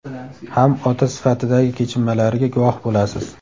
ham ota sifatidagi kechinmalariga guvoh bo‘lasiz.